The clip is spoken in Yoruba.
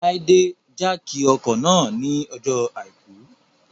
Láídè jákì ọkọ̀ náà ní ọjọ́ àìkú